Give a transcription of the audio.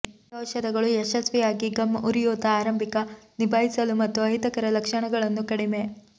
ಈ ಔಷಧಗಳು ಯಶಸ್ವಿಯಾಗಿ ಗಮ್ ಉರಿಯೂತ ಆರಂಭಿಕ ನಿಭಾಯಿಸಲು ಮತ್ತು ಅಹಿತಕರ ಲಕ್ಷಣಗಳನ್ನು ಕಡಿಮೆ